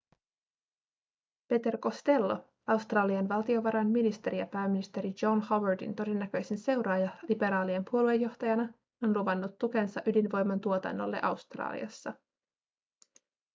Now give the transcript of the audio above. peter costello australian valtiovarainministeri ja pääministeri john howardin todennäköisin seuraaja liberaalien puoluejohtajana on luvannut tukensa ydinvoiman tuotannolle australiassa